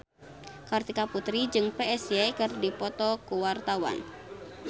Kartika Putri jeung Psy keur dipoto ku wartawan